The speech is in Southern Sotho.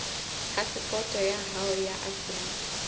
phasepoto ya hao ya afrika